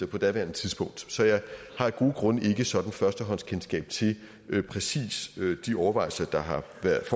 på daværende tidspunkt så jeg har af gode grunde ikke sådan førstehåndskendskab til præcis de overvejelser der har